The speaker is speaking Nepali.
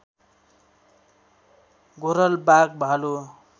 घोरल बाघ भालु